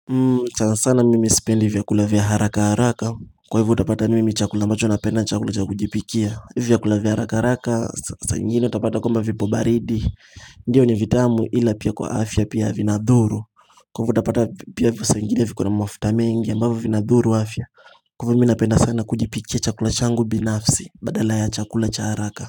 Sana sana mimi sipendi vyakula vya haraka haraka Kwa hivyo utapata mimi chakula ambacho napenda chakula cha kujipikia Hivyo vyakula vya haraka haraka saa ingine utapata kwamba vipo baridi Ndiyo ni vitamu ila pia kwa afya pia vinadhuru. Kwa hivyo utapata pia saa ingine viko na mafuta mengi ambavyo vinadhuru afya Kwa hivyo mi napenda sana kujipikia chakula changu binafsi badala ya chakula cha haraka.